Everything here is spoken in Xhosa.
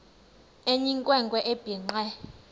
eyinkwe nkwe ebhinqe